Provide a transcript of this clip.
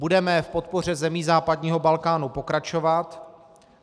Budeme v podpoře zemí západního Balkánu pokračovat.